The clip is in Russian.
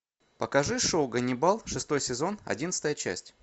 покажи шоу ганнибал шестой сезон одиннадцатая часть